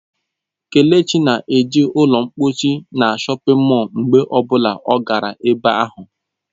Kelechi na-eji ụlọ mposi na shọpin mọll mgbe ọ bụla ọ gara ebe ahụ.